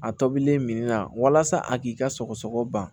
A tobilen min na walasa a k'i ka sɔgɔsɔgɔ ban